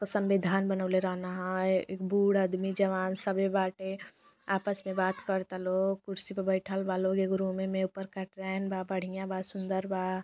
संविधान बनौले रहलन है ए बूढ़ आदमी जवान सभे बाटे आपस में बात करता लोग कुर्सी प बैठल बालो एक रूमे में ऊपर कटरैन बा बढ़िया बा सुन्दर बा।